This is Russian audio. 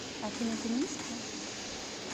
афина ты низкая